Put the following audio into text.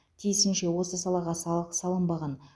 тиісінше осы салаға салық салынбаған